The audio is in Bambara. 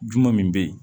Juma min bɛ ye